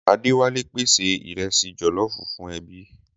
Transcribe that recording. Adéwálé pèsè ìrẹsì jọ̀lọ́ọfù fún ẹbí.